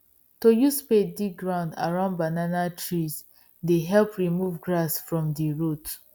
to use spade dig ground around banana trees dey help remove grass from the root